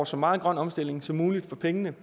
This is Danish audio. så meget grøn omstilling som muligt for pengene